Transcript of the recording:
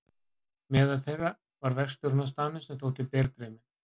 Meðal þeirra var verkstjórinn á staðnum sem þótti berdreyminn.